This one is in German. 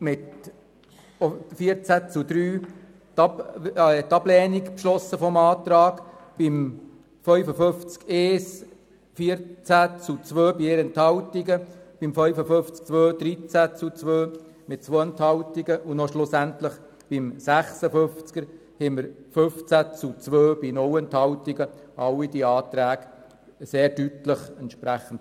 Mit 14 zu 2 Stimmen bei 4 Enthaltungen lehnte sie den Antrag zu Artikel 55 Absatz 1 ab, und mit 13 zu 2 Stimmen bei 2 Enthaltungen den Antrag zu Artikel 55 Absatz 2. Schliesslich lehnte sie mit 15 zu 2 Stimmen bei 0 Enthaltungen den Antrag zu Artikel 56 ab.